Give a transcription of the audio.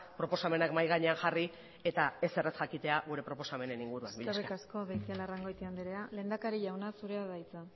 proposamenak mahai gainean jarri eta ezer ez jakitea gure proposamenen inguruan mila esker eskerrik asko beitialarrangoitia andrea lehendakari jauna zurea da hitza